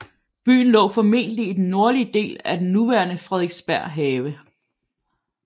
Byen lå formentlig i den nordlige del af den nuværende Frederiksberg Have